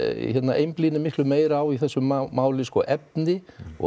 einblíni miklu meira á í þessu máli efni og